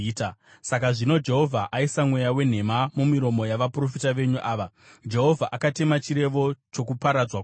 “Saka zvino Jehovha aisa mweya wenhema mumiromo yavaprofita venyu ava. Jehovha akatema chirevo chokuparadzwa kwako.”